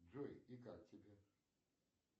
джой и как тебе